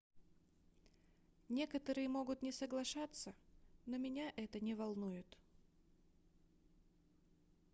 некоторые могут не соглашаться но меня это не волнует